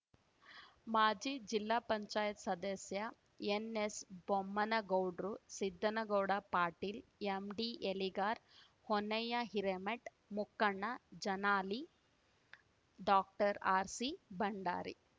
ಮಾಜಿಜಿಲ್ಲಾ ಪಂಚಯಾತ್ ಸದಸ್ಯ ಎನ್ಎಸ್ಬೊಮ್ಮನಗೌಡ್ರು ಸಿದ್ದನಗೌಡ ಪಾಟೀಲ ಎಂಡಿಎಲಿಗಾರ ಹೊನ್ನಯ್ಯ ಹಿರೇಮಟ್ ಮುಕ್ಕಣ್ಣ ಜನಾಲಿ ಡಾಕ್ಟರ್ಆರ್ಸಿ ಬಂಡಾರಿ